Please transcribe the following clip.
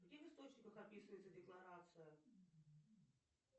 где в источниках описывается декларация